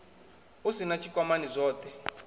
u sin a tshikwamani zwothe